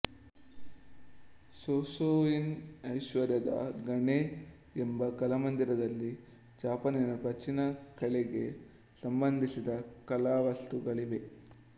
Shosoin ಐಶ್ವರ್ಯದ ಗಣಿ ಎಂಬ ಕಲಾಮಂದಿರದಲ್ಲಿ ಜಪಾನಿನ ಪ್ರಾಚೀನ ಕಲೆಗೆ ಸಂಬಂಧಿಸಿದ ಕಲಾವಸ್ತುಗಳಿವೆ